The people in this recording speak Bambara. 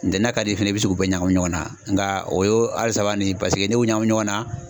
Ntɛnɛn na ka d'i ye i bɛ se k'u bɛɛ ɲagami ɲɔgɔnna, nka o ye a saba nin paseke ne y'o ɲagami ɲɔgɔnna